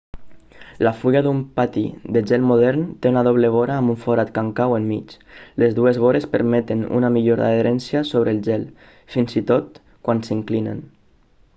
la fulla d'un patí de gel modern té una doble vora amb un forat còncau enmig les dues vores permeten una millor adherència sobre el gel fins i tot quan s'inclinen